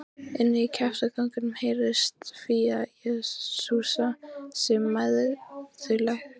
Inní kjaftaganginum heyrðist Fía jesúsa sig mæðulega.